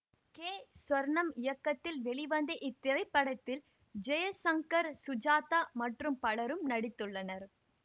K Sornam இயக்கத்தில் வெளிவந்த இத்திரைப்படத்தில் ஜெய்சங்கர் சுஜாதா மற்றும் பலரும் நடித்துள்ளனர்